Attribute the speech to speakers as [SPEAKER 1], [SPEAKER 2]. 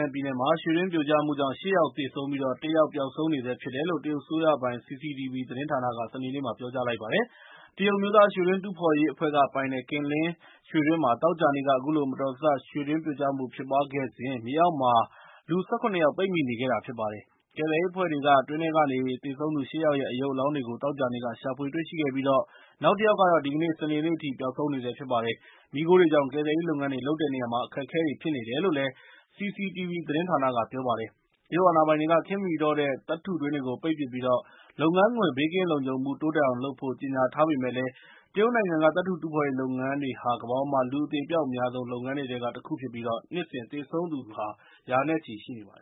[SPEAKER 1] န်ပြည်နယ်မှာ ရွှေတွင်းပြိုကြမှုကြောင့် ၈ ယောက်သေဆုံးပြီး၊ ၁ ယောက် ပျောက်ဆုံးနေဆဲဖြစ်တယ်လို့ တရုတ်အစိုးရပိုင် CCTV သတင်းအေဂျင်စီက စနေနေ့မှာ ပြောကြားလိုက်ပါတယ်။ တရုတ်အမျိုးသားရွှေတူးဖော်ရေးအဖွဲ့ကပိုင်တဲ့ Qinling ရွှေတွင်းမှာ သောကြာနေ့က အခုလို မတော်တဆရွှေတွင်းပြိုကျမှုဖြစ်ပွားခဲ့စဉ်၊ မြေအောက်မှာ လူ ၁၇ ယောက် ပိတ်မိနေခဲ့တာပါ။ ကယ်ဆယ်ရေးအဖွဲ့တွေက တွင်းထဲကနေ သေဆုံးသူ ၈ ယောက်ရဲ့ ရုပ်အလောင်းတွေကို သောကြာနေ့က ရှာဖွေတွေ့ရှိခဲ့ပြီး၊ နောက်တစ်ယောက်ကတော့ ဒီကနေ့ စနေနေ့အထိ ပျောက်ဆုံးနေဆဲဖြစ်ပါတယ်။ မီးခိုတွေကြောင့် ကယ်ဆယ်ရေးလုပ်ငန်းတွေလုပ်တဲ့နေရာမှာ အခက်အခဲတွေဖြစ်နေတယ်လို့လည်း CCTV သတင်းဌာနက ပြောပါတယ်။ တရုတ်အာဏာပိုင်တွေက ခေတ်မမှီတော့တဲ့ သတ္တုတွင်းတွေကို ပိတ်ပစ်ပြီး၊ လုပ်ငန်းခွင် ဘေးကင်းလုံခြုံမှု တိုးတက်အောင်လုပ်ဖို့ ကြေငြာထားပေမယ့်လည်း၊ တရုတ်နိုင်ငံ သတ္တုတူးဖော်ရေးလုပ်ငန်းဟာ ကမ္ဘာပေါ်မှာ လူအသေအပျောက်အများဆုံး လုပ်ငန်တွေထဲကတခုဖြစ်ပြီး၊ နှစ်စဉ်သေဆုံးသူ ရ
[SPEAKER 2] ာနဲချီရှိနေပါတယ